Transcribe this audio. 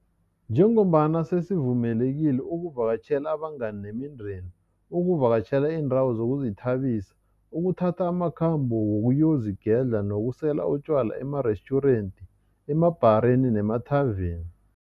Njengombana sesivumelekile ukuvakatjhela abangani nemindeni, ukuvakatjhela iindawo zokuzithabisa, ukuthatha amakhambo wokuyozigedla nokusela utjwala emarestjurenti, emabhareni nemathaveni.